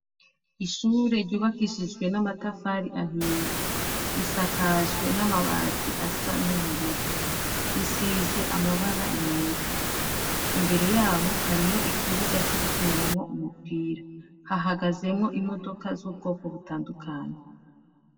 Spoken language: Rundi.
Ishure ryubakishije n’amatafari ahiye, risakaje n’amabati asa n’ubururu, risize amabara yera. Imbere yaho hariho ikibuga co gukiniramwo umupira, hahagazemwo imodoka z'ubwoko butandukanye.